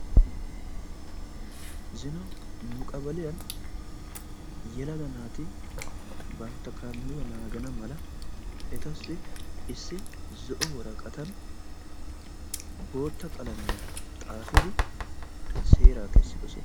Zino nu qabaliyan yelaga naati bantta kandduwa naagana mala etassi issi zo"o worqqatan boottaa qalamiya xaafidi seeraa kessiddosona.